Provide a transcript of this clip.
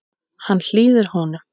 Hann hlýðir honum.